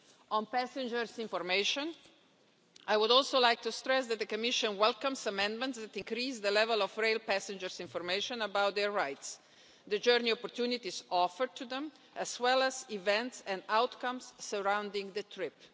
On passenger information, I would also like to stress that the Commission welcomes amendments that increase the level of rail passenger information about their rights, the journey opportunities offered to them, as well as events and outcomes surrounding the trip.